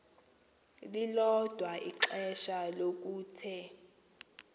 lilodwa ixesha lokuthe